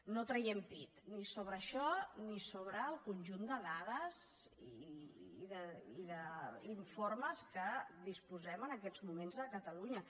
no traiem pit ni sobre això ni sobre el conjunt de dades i d’informes de què disposem en aquests moments a catalunya